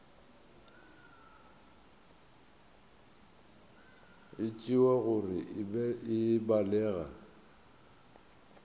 e tšewa gore e balega